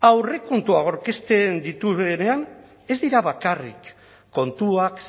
aurrekontuak aurkezten dituenean ez dira bakarrik kontuak